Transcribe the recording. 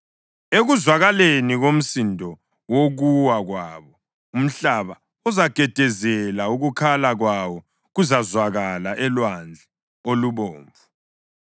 Ekuzwakaleni komsindo wokuwa kwabo umhlaba uzagedezela, ukukhala kwabo kuzazwakala eLwandle oluBomvu.